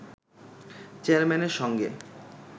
চেয়ারম্যানের সঙ্গে